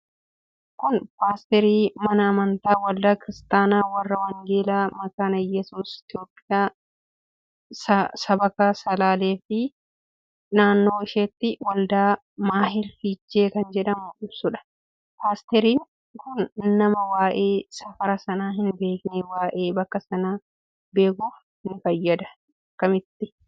Kun postery mana amantaa waldaa kiristaanaa warra wangeela makaana yesuus itiyoophiyaa S/G/ito. Sabakaa salaleef naannoo ishetti waldaa mahaal fichee kan jedhu ibsuudha. Postery'n kun nama waa'e safara sana hin beeknef waa'e bakka sana beekuf ni fayyada? Akkamitti